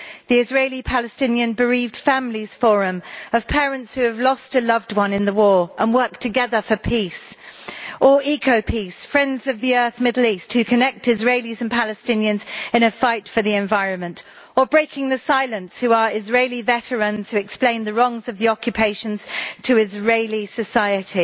These include the Israeli Palestinian Bereaved Families Forum, made up of parents who have lost a loved one in the war and work together for peace, EcoPeace Friends of the Earth Middle East, who connect Israelis and Palestinians in a fight for the environment, and Breaking the Silence, who are Israeli veterans who explain the wrongs of the occupations to Israeli society.